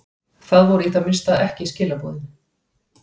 Það voru í það minnsta ekki skilaboðin.